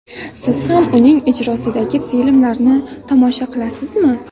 Siz ham uning ijrosidagi filmlarni tomosha qilasizmi?